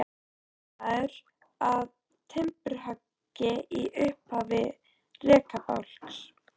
Hér er maður að timburhöggi í upphafi rekabálks.